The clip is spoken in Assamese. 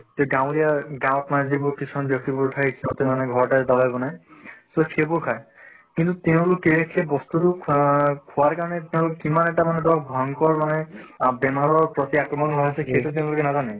তে গাঁৱলীয়া গাঁৱত মানে যিবোৰ কিছুমান ব্য়ক্তিবোৰ থাকে সিহঁতে মানে ঘৰতে দাৱাই বনায় so সেইবোৰ খায়। কিন্তু তেওঁলোকে সেই বস্তু টো খোৱাৰ খোৱাৰ কাৰণে তেওঁলোক কিমান এটা মানে ধৰক ভয়ংকৰ মানে আহ বেমাৰৰ প্ৰতি আক্ৰমন হৈ আছে সেইটো তেওঁলোকে নাজানে।